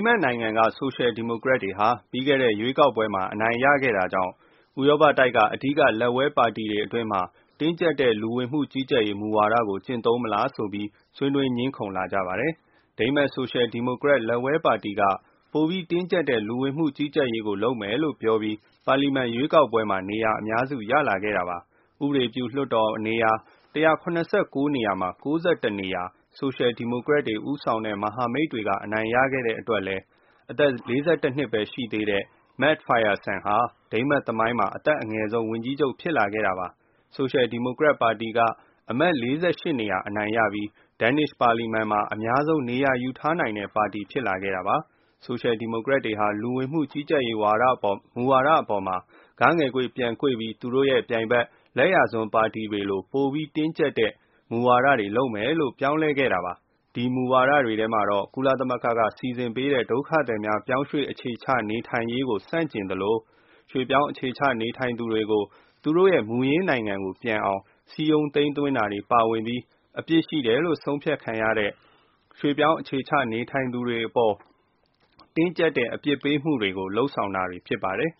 မတ် နိုင်ငံက ဆိုရှယ်ဒီမိုကရက်တွေ ပြီးခဲ့တဲ့ ရွေးကောက်ပွဲမှာ အနိုင်ရခဲ့တာကြောင့် ဥရောပတိုက်က အဓိက လက်ဝဲပါတီတွေ အတွင်းမှာ တင်းကြပ်တဲ့ လူဝင်မှု ကြီးကြပ်ရေးမူဝါဒကို ကျင့်သုံးမလားဆိုပြီး ဆွေးနွေးငြင်းခုံလာကြပါတယ်။ ဒိန်းမတ် ဆိုရှယ်ဒီမိုကရက် လက်ဝဲပါတီက ပိုပြီးတင်းကြပ်တဲ့ လူဝင်မှု ကြီးကြပ်ရေး ကို လုပ်မယ်လို့ ပြောပြီး ပါလီမန် ရွေးကောက်ပွဲမှာ နေရာအများစု ရလာခဲ့တာပါ။ ဥပဒေပြု လွှတ်တော် နေရာ ၁၇၉ နေရာမှာ ၉၁ နေရာ ဆိုရှယ်ဒီမိုကရက်ဦးဆောင်တဲ့ မဟာမိတ်တွေက အနိုင်ရခဲ့တဲ့အတွက်လည်း အသက် ၄၁ နှစ်ပဲ ရှိသေးတဲ့ Mette Frederiksen ဟာ ဒိန်းမတ် သမိုင်းမှာ အသက် အငယ်ဆုံးဝန်ကြီးချုပ် ဖြစ်လာခဲ့တာပါ။ ဆိုရှယ်ဒီမိုကရက်ပါတီက အမတ် ၄၈ နေရာ အနိုင်ရပြီး ဒန်းနစ်ရှ် ပါလီမန် မှာ အများဆုံး နေရာယူထားနိုင်တဲ့ ပါတီ ဖြစ်လာခဲ့တာပါ။ ဆိုရှယ်ဒီမိုကရက်တွေ ဟာ လူဝင်မှု ကြီးကြပ်ရေးမူဝါဒအပေါ် ဂ ငယ်ကွေ့ ပြန်ကွေ့ပြီး သူတို့ရဲ့ ပြိုင်ဘက် လက်ယာစွန်း ပါတီ တွေလို ပိုပြီးတင်းကြပ်တဲ့ မူဝါဒတွေ လုပ်မယ်လို့ ပြောင်းလဲခဲ့တာပါ။ အဲဒီမူဝါဒတွေ ထဲမှာတော့ ကုလသမဂ္ဂက စီစဉ်ပေးတဲ့ ဒုက္ခသည်များ ပြောင်းရွှေ့ အခြေချနေထိုင်ရေးကို ဆန့်ကျင်သလို၊ ရွှေ့ပြောင်းအခြေချ နေထိုင်သူတွေကို သူတို့ရဲ့ မူရင်း နိုင်ငံကို ပြန်အောင် စည်းရုံးသိမ်းသွင်းတာတွေ ပါဝင်ပြီး အပြစ်ရှိတယ်လို့ ဆုံးဖြတ်ခံရတဲ့ ရွှေ့ပြောင်းအခြေချနေထိုင်သူတွေ အပေါ် တင်းကြပ်တဲ့ အပြစ်ပေးမှုတွေကို လုပ်ဆောင်တာတွေ ဖြစ်ပါတယ်